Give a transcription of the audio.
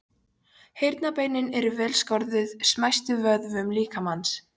Heyrnarbeinin eru vel skorðuð smæstu vöðvum líkamans.